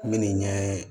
Minni ɲɛ